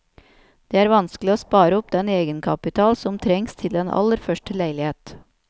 Det er vanskelig å spare opp den egenkapital som trengs til den aller første leilighet.